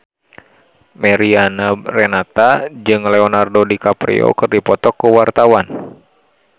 Mariana Renata jeung Leonardo DiCaprio keur dipoto ku wartawan